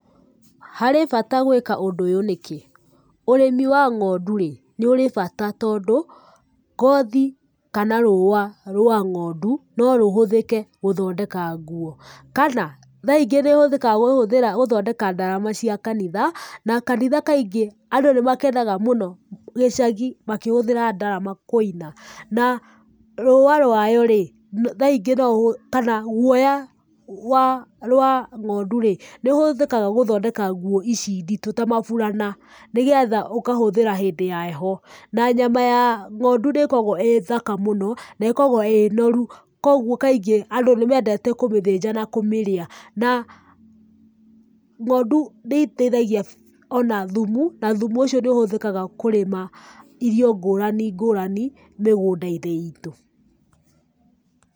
Harĩ bata gwĩka ũndũ ũyũ nĩkĩ? Ũrĩmi wa ng'ondu rĩ, nĩ ũrĩ bata tondũ ngothi, kana rũũa rwa ng'ondu, no rũhũthike gũthondeka nguo, kana tha ingĩ nĩ ĩhũthĩkaga gũthondeka ndarama cia kanitha, na kanitha kaingĩ, andũ nĩmakenaga mũno, gĩcagi makihũthĩra ndarama kũina. Na, rũũa rwayo rĩ, tha ingĩ, kana guoya, gwa, rwa ng'ondu rĩ, nĩũhũthĩkaga gũthondeka nguo ici nditũ ta maburana, nĩgetha ũkahũthira hĩndĩ ya heho. Na nyama ya ng'ondu nĩ ĩkoragwo ĩ thaka mũno, na ĩkoragwo ĩ noru, koguo kaingĩ andũ nĩ mendete kũmĩthĩnja na kũmĩrĩa. Na ng'ondu nĩ iteithagia ona thumu, na thumu ũcio nĩũhũthĩkaga kũrĩma irio ngũrani ngũrani mĩgũnda-inĩ itũ.